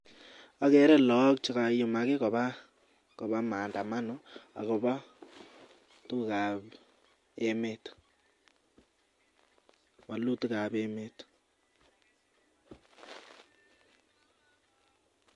Agere lagok chekaiyumak Koba maandamano akoba tuguk ab emet walutik ab emet